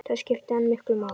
Það skipti hana miklu máli.